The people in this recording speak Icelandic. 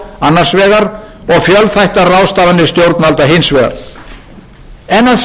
annars vegar og fjölþættar ráðstafanir stjórnvalda hins vegar en að sjálfsögðu er glímunni ekki lokið og vandinn